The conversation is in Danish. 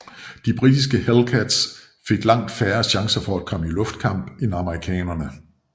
De britiske Hellcats fik langt færre chancer for at komme i luftkamp end amerikanerne